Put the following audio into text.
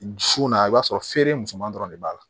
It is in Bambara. Su na i b'a sɔrɔ feere musoman dɔrɔn de b'a la